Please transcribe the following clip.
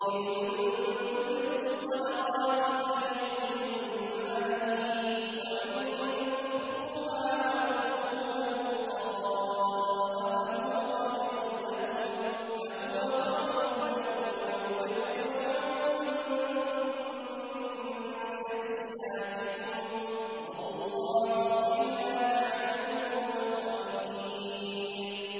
إِن تُبْدُوا الصَّدَقَاتِ فَنِعِمَّا هِيَ ۖ وَإِن تُخْفُوهَا وَتُؤْتُوهَا الْفُقَرَاءَ فَهُوَ خَيْرٌ لَّكُمْ ۚ وَيُكَفِّرُ عَنكُم مِّن سَيِّئَاتِكُمْ ۗ وَاللَّهُ بِمَا تَعْمَلُونَ خَبِيرٌ